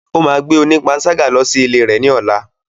Ó máa gbé onípanṣágà lọ sí ilé rẹ̀ ní ọ̀la.